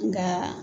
Nka